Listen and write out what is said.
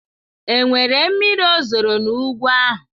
Enwere miri ozoro n'ugwu ahụ?